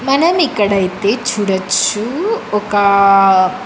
మనం ఇక్కడ అయితే చూడచ్చు ఒక--